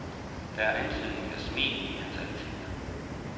Der er antydning af smil i hans ansigt.